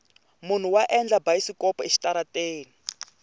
munhu wa endla bayisikopo exitarateni